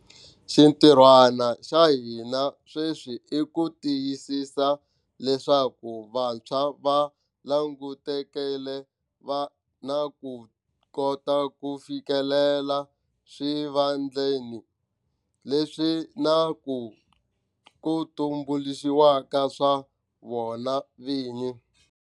Xintirhwana xa hina sweswi i ku tiyisisa leswaku vantshwa va langutekile va na ku kota ku fikelela swivandlanene leswi na ku ku tumbuluxiwaka swa vona vini.